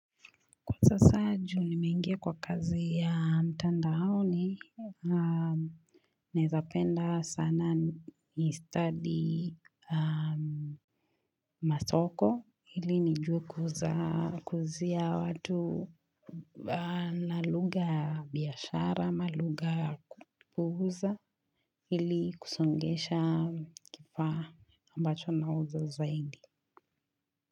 Kwa sasa ju nimeingia kwa kazi ya mtandaoni, naezapenda sana ni study masoko, ili nijue kuuzia watu na lugha ya biashara, ama lugha ya kuuza, ili kusongesha kifaa ambacho nauza zaidi.